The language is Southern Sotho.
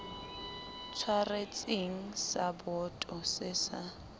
tshwaretseng sa boto se sa